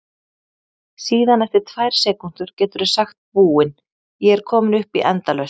Síðan eftir tvær sekúndur geturðu sagt Búin, ég er komin upp í endalaust!